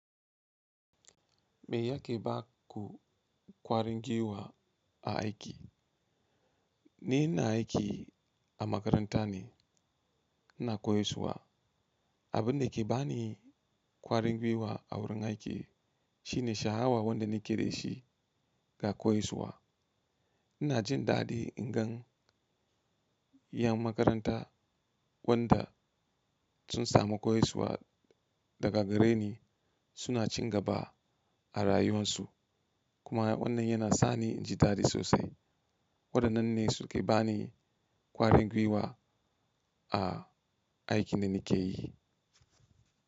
Me yake baku ƙwarin giwa a aiki? Ni ina aiki a makaranta ne, ina koyaswa. Abunda ke bani ƙwarin gwiwa a wurin aiki shine sha'awa wanda nake da shi ga koyaswa. Ina jin daɗi in gan yan makaranta wanda sun samu koyaswa daga gare ni suna cin gaba a rayuwan su kuma wannan yana sani jindaɗi sosai. Wadannan ne suke bani ƙwarin gwiwa a aikin da nake yi.